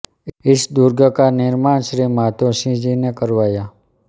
इस दुर्ग का निर्माण श्री माधोसिंह जी ने करवाया